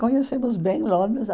Conhecemos bem Londres.